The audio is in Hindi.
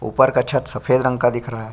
ऊपर का छत सफेद रंग का दिख रहा है।